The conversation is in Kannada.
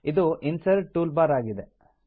ಇದು ಇನ್ಸರ್ಟ್ ಟೂಲ್ ಬಾರ್ ಆಗಿದೆ